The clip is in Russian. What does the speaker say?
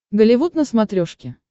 голливуд на смотрешке